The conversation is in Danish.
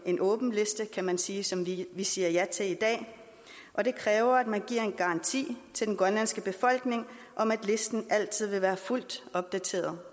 en åben liste kan man sige som vi siger ja til i dag og det kræver at man giver en garanti til den grønlandske befolkning om at listen altid være fuldt opdateret